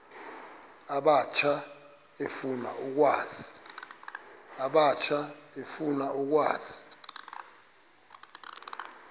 abatsha efuna ukwazi